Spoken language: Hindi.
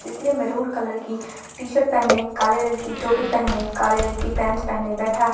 जिसने मैरून कलर की टी शर्ट पहने काले रंग की टोपी पहने काले रंग की पैंट पहने बैठा है।